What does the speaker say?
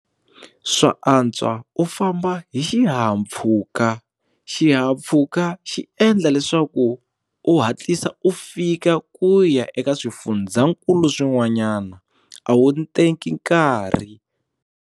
Swa antswa u famba hi xihahampfhuka xihahampfhuka xi endla leswaku u hatlisa u fika ku ya eka swifundzakulu swin'wanyana a wu teki nkarhi.